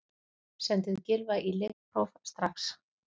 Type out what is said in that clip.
Sendið Gylfa í lyfjapróf strax!